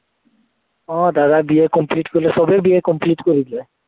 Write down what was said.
আহ দাদা BA complete কৰিলে, সৱেই BA complete কৰিলে।